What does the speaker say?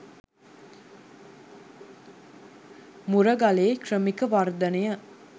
මුරගලේ ක්‍රමික වර්ධනය